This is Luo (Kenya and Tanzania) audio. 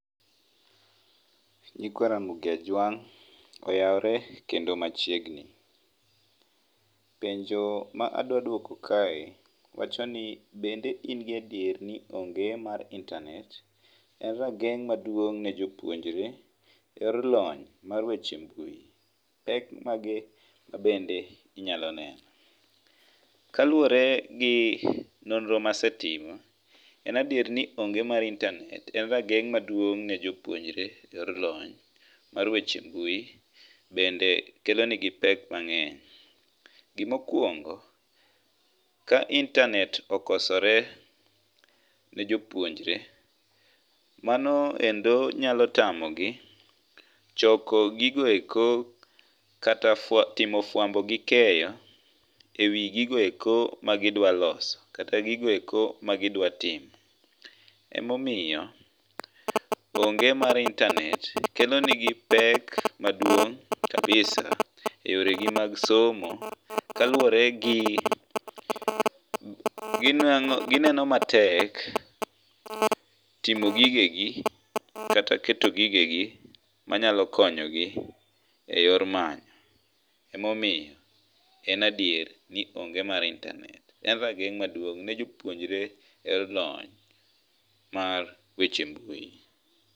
Nyikwa Ramogi Ajwang oyawre kendo machiegni , penjo ma adwa duoko kae wachoni bende in gadier ni onge mar internet en rageng' maduong ne jopuonjre e loyy mar weche mbui pek mage ma bende inyalo neno? Kaluwore gi nonro masritimo en adier ni onge mar internet en rageng' maduong' ne jopuonjre e lony mar weche mbui bende kelo negi pek mang'eny. Gimokuongo ka internet okosore ne jopuonjre mano endo nyalo tamogi choko gigoeko kata fwa timo fwambo gi keyo ewoi gigo eko magidwa loso kata gigo eko ma gidwa timo. Emomiyo onge mar internet kelo negi pek maduong' kabisa e yore gi mag somo kaluwore gi ginwang'o gineno matek timo gige gi kata keto gige gi manyalo konyo gi e yore manyo. Emomiyo en adier ni onge mar internet en rageng' maduong' ne jopuonjre e lony mar weche mbui.